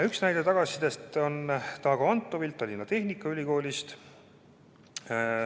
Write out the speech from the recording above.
Üks näide tagasisidest on Dago Antovilt Tallinna Tehnikaülikoolist.